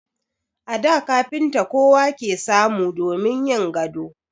A da kafinta kowa ke samu damin yin gado.